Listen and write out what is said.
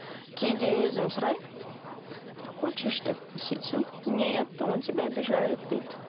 кейде өзім сұраймын хочешь деп сөйтсем нет он тебя обижает дейді